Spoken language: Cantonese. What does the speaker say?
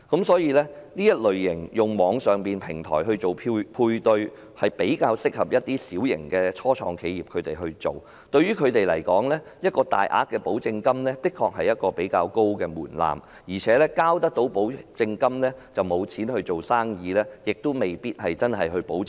所以，透過網上平台進行配對，比較適合一些小型的初創企業，因為對他們來說，大額保證金的確是一個比較高的門檻，繳交保證金後已沒有營運資金，質素因而未必能夠保證。